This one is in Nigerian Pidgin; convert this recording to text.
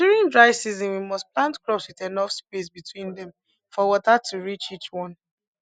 during dry season we must plant crops with enough space between them for water to reach each one